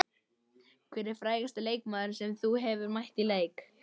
Hver er frægasti leikmaðurinn sem þú hefur mætt í leik?